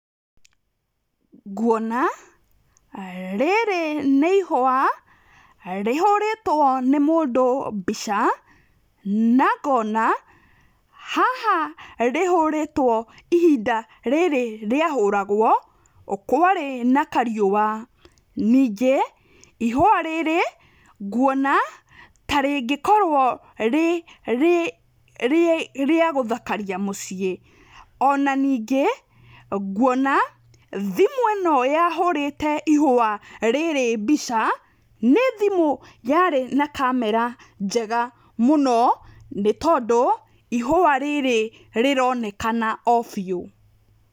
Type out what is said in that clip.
Nguona rĩrĩ nĩ ihũa rĩhũrĩtwo nĩ mũndũ mbica na ngona haha rĩhũrĩtwo ihinda rĩrĩ rĩahũragwo kwarĩ na kariũwa ningĩ ihũa rĩrĩ nguona ta rĩngĩkorwo rĩ rĩagũthakaria mũciĩ ona ningĩ ngũona thimũ ĩno yahũrĩte ihũa rĩrĩ mbica níĩthimũ yarĩ na kamera njega mũno nĩ tondũ ihua rĩrĩ rĩronekana o biu.